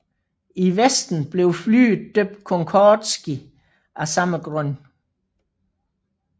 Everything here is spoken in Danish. I Vesten blev flyet døbt Concordski af samme grund